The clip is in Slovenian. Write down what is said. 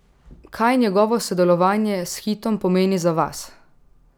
Kaj njegovo sodelovanje s Hitom pomeni za vas?